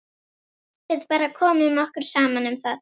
Við bara komum okkur saman um það.